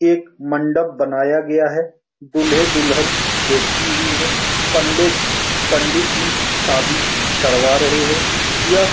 एक मंडप बनाया गया है दूल्हे-दुल्हन बैठी हुई है पंडित पंडित जी शादी करवा रहे हैं यह --